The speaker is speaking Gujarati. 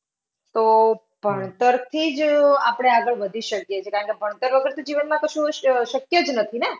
તો હમ ભણતરથી જ આપણે આગળ વધી શકીએ છે કારણકે ભણતર વગર તો જીવનમાં કશું અશ, શક્ય જ નથી ને!